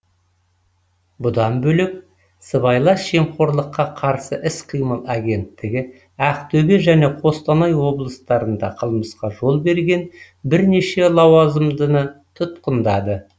бұдан бөлек сыбайлас жемқорлыққа қарсы іс қимыл агенттігі ақтөбе және қостанай облыстарында қылмысқа жол берген бірнеше лауазымдыны тұтқындады